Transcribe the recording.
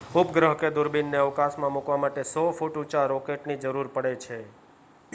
ઉપગ્રહ કે દૂરબીનને અવકાશમાં મૂકવા માટે 100 ફૂટ ઊંચા રોકેટની જરૂર પડે છે